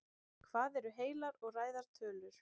hvað eru heilar og ræðar tölur